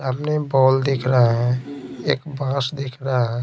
Paul देख रहा है एक बस दिख रहा है।